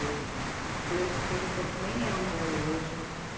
O Playcenter, que nem é onde é hoje.